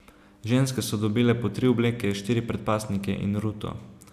Ženske so dobile po tri obleke, štiri predpasnike in ruto.